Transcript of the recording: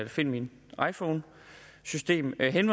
find min iphone systemet han